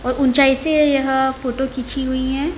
और ऊँचाई से यहाँ फोटो खीची हुई है।